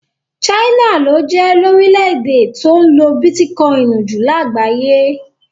China ló jẹ́ lórílẹ̀ èdè tó ń lo bitikọini jù lágbàáyé.